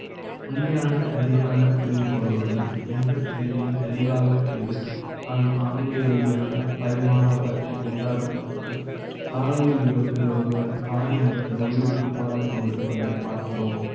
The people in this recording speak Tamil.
உண்மையான சரியான புரிந்து கொள்வது ம் எந்த செயலை யும் தெளிவாக செய்து . மான பரிமாண வளர்ச்சி க்கு உதாரண த்துக்கு சாலையில் விபத்தில் ஒருவர் காயம். மற்ற உயிரு க்கு போராடிக் கொண்டிருப்பதை ப் பார்க்கிறோம்